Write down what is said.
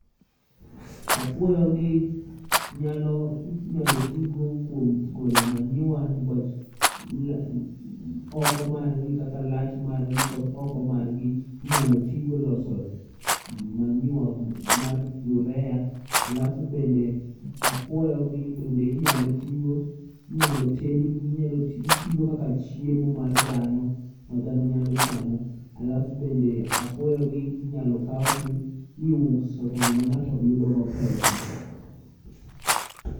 Apuoyo gi nyalo, inyalo tigo kuom golo manyiwa niwach la, oko margi kaka lach margi kod oko margi inyal tigo e loso manyiwa mar yurea. Alafu bende apuoyo gi bende inyalo tigo, inyalo tedgi, inyalo tigo kaka chiemo mar dhano ma dhano nyalo chamo. Alafu bende apuoyo gi inyalo kaw ti iuso to ng'ama ng'ato yudogo pesa.